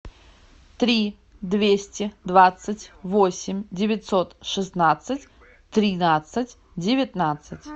три двести двадцать восемь девятьсот шестнадцать тринадцать девятнадцать